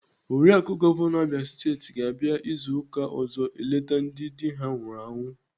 Oriaku gọvanọ Abia Steeti ga-abịa izu ụka ọzọ eleta ndị dị ha nwụrụ anwụ.